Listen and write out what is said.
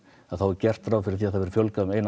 þá er gert ráð fyrir því að það verði fjölgað um eina